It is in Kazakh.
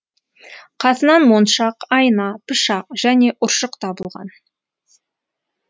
қасынан моншақ айна пышақ және ұршық табылған